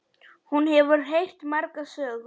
Hún hefur heyrt margar sögur.